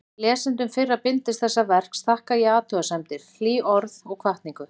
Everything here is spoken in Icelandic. Lesendum fyrra bindis þessa verks þakka ég athugasemdir, hlý orð og hvatningu.